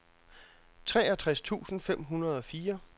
treogtres tusind fem hundrede og fire